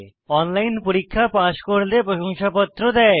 online পরীক্ষা pass করলে প্রশংসাপত্র দেয়